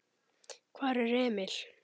Hvar er Emil?